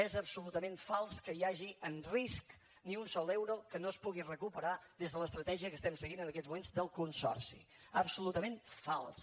és absolutament fals que hi hagi en risc ni un sol euro que no es pugui recuperar des de l’estratègia que estim seguint en aquests moments del consorci absolutament fals